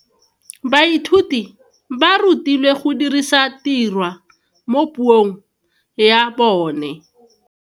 Baithuti ba rutilwe go dirisa tirwa mo puong ya bone.